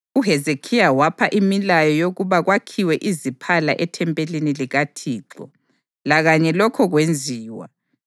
UHezekhiya wapha imilayo yokuba kwakhiwe iziphala ethempelini likaThixo, lakanye lokho kwenziwa.